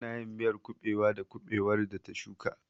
Tana yin miyar kuɓewa da kuɓewar da ta shuka.